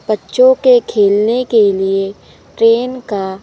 बच्चों के खेलने के लिए ट्रेन का--